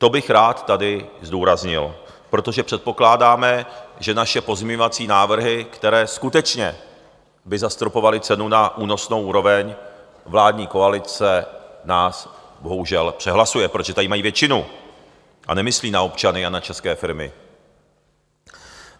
To bych rád tady zdůraznil, protože předpokládáme, že naše pozměňovací návrhy, které skutečně by zastropovaly cenu na únosnou úroveň, vládní koalice nás bohužel přehlasuje, protože tady mají většinu a nemyslí na občany a na české firmy.